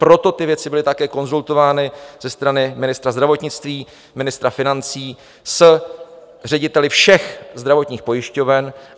Proto ty věci byly také konzultovány ze strany ministra zdravotnictví, ministra financí s řediteli všech zdravotních pojišťoven.